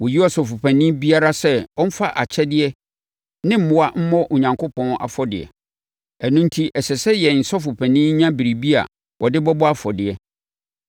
Wɔyi Ɔsɔfopanin biara sɛ ɔmfa akyɛdeɛ ne mmoa mmɔ Onyankopɔn afɔdeɛ. Ɛno enti ɛsɛ sɛ yɛn Sɔfopanin nya biribi a ɔde bɛbɔ afɔdeɛ.